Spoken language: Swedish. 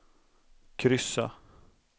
kryssa